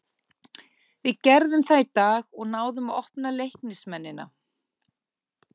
Við gerðum það í dag og náðum að opna Leiknismennina.